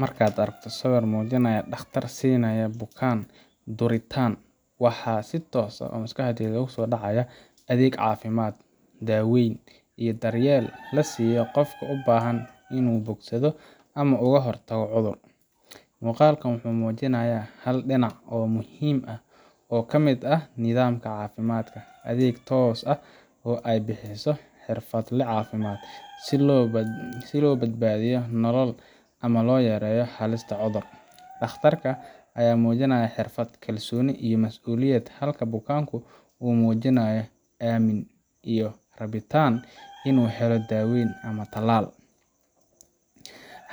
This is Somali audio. Marka aad aragto sawir muujinaya dhakhtar siinaya bukaan duritaan , waxa si toos ah maskaxda ku soo dhacaya adeeg caafimaad, daaweyn, iyo daryeel la siiyo qofka u baahan inuu bogsado ama uga hortago cudur. Muuqaalkan wuxuu muujinayaa hal dhinac oo muhiim ah oo ka mid ah nidaamka caafimaadka adeeg toos ah oo ay bixiso xirfadle caafimaad, si loo badbaadiyo nolol ama loo yareeyo halista cudur. Dhakhtarka ayaa muujinaya xirfad, kalsooni, iyo masuuliyad, halka bukaanku uu muujinayo aammin iyo rabitaan inuu helo daaweyn ama tallaal.